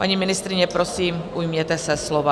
Paní ministryně, prosím, ujměte se slova.